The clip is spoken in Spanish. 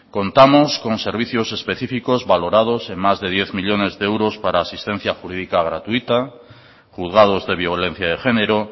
contamos con servicios específicos valorados en más de diez millónes de euros para asistencia jurídica gratuita juzgados de violencia de género